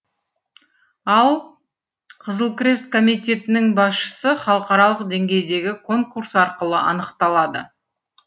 ал қызыл крест комитетінің басшысы халықаралық деңгейдегі конкурс арқылы анықталады